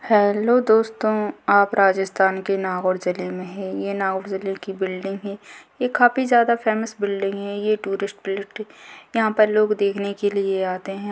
Hello दोस्तों आप राजस्थान के नागौर जिले में है ये नागौर जिले की बिल्डिंग है ये काफी ज्यादा फेमस बिल्डिंग है ये टूरिस्ट प्लेस यहां पर लोग देखने के लिए आते है।